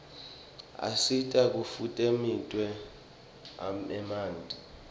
asita kufutfumietia emanti